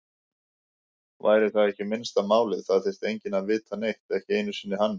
Væri það ekki minnsta málið, það þyrfti enginn að vita neitt, ekki einu sinni hann.